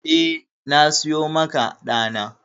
Eh, na siyo maka ɗa na.